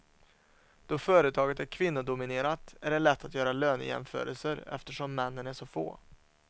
Då företaget är kvinnodominerat är det lätt att göra lönejämförelser eftersom männen är så få.